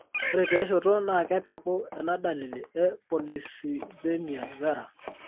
ore tiashoto ,naa kepeku enaa dalili e polycythemia vera.